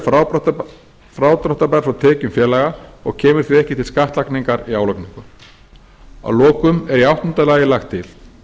er frádráttarbær frá tekjum félaga og kemur því ekki til skattlagningar í álagningu að lokum er í áttunda lagi lagt til